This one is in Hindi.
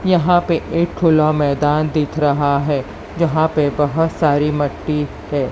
यहां पे एक खुला मैदान दिख रहा है जहां पे बहोत सारी मट्टी है।